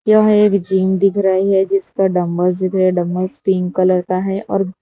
यह एक जिम दिख रही है जिसका डंबल्स दिख रहा है डंबल्स पिंक कलर का है और --